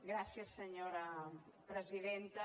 gràcies senyora presidenta